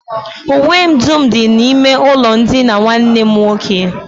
Uwe m dum dị n'ime ụlọndina nwanne m nwoke